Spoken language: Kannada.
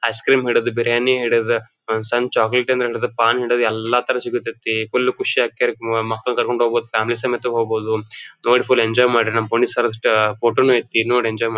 ಐಸ್ಕ್ರೀಂ ಹಿಡಿದು ಬಿರಿಯಾನಿ ಹಿಡಿದು ಒಂದ್ ಸಣ್ಣ ಚಾಕಲೇಟ್ ಹಿಡಿದು ಪಾನ್ ಹಿಡಿದು ಎಲ್ಲ ತರಹದ್ ಸಿಗುತೈತಿ ಫುಲ್ ಖುಷಿ ಆಗತೈತಿ. ಮಕ್ಕಳ್ನುಕರೆದುಕೊಂಡು ಫ್ಯಾಮಿಲಿ ಸಮೇತ ಹೋಗ್ಬಹುದು ನೋಡಿ ಫುಲ್ ಎಂಜಾಯ್ ಮಾಡ್ರಿ ನಮ್ ಫೋಟೋ ನು ಐತಿ ನೋಡಿ ಎಂಜಾಯ್ ಮಾಡ್--